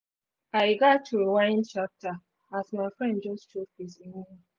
i gats rewind chapter as my friend